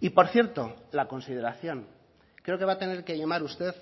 y por cierto la consideración creo que va a tener que llamar usted